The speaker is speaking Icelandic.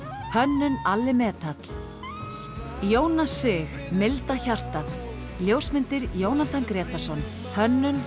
hönnun Alli metall Jónas sig milda hjartað ljósmyndir Jónatan Grétarsson hönnun